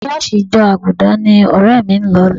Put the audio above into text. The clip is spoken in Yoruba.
ṣọ́ọ̀ṣì ìjọ Àgùdà ni ọ̀rẹ́ mi ń lọ